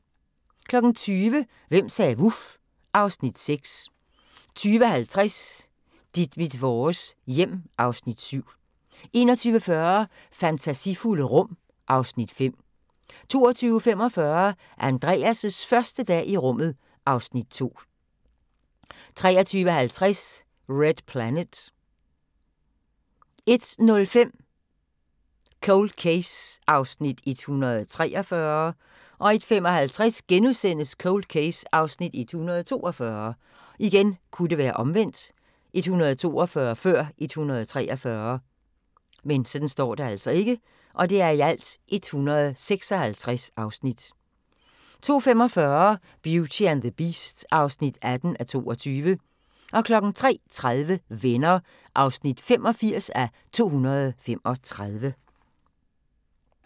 20:00: Hvem sagde vuf? (Afs. 6) 20:50: Dit mit vores hjem (Afs. 7) 21:40: Fantasifulde rum (Afs. 5) 22:45: Andreas' første dag i rummet (Afs. 2) 23:20: Red Planet 01:05: Cold Case (143:156) 01:55: Cold Case (142:156)* 02:45: Beauty and the Beast (18:22) 03:30: Venner (85:235)